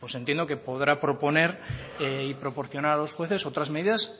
entiendo que podrá proponer y proporcionar a los jueces otras medidas